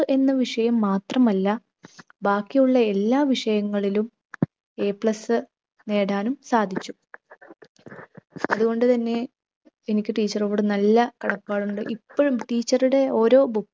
എന്ന വിഷയം മാത്രമല്ല, ബാക്കിയുള്ള എല്ലാ വിഷയങ്ങളിലും A plus നേടാനും സാധിച്ചു. അതുകൊണ്ടു തന്നെ എനിക്ക് teacher ഓട് നല്ല കടപ്പാടുണ്ട്. ഇപ്പഴും teacher ടെ ഓരോ